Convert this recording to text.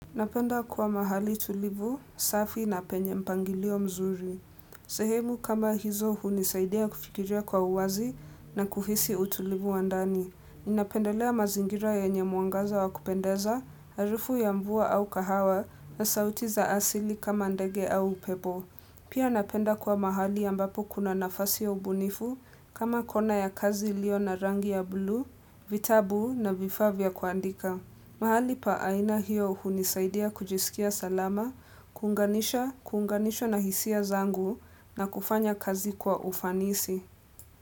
Napenda kuwa mahali tulivu, safi na penye mpangilio mzuri. Sehemu kama hizo hunisaidia kufikiria kwa uwazi na kuhisi utulivu wa ndani. Ninapendelea mazingira yenye mwangaza wa kupendeza, harufu ya mvua au kahawa na sauti za asili kama ndege au upepo. Pia napenda kuwa mahali ambapo kuna nafasi ya ubunifu kama kona ya kazi ilio na rangi ya buluu, vitabu na vifaa vya kuandika. Mahali pa aina hiyo hunisaidia kujisikia salama, kuunganisha na hisia zangu na kufanya kazi kwa ufanisi.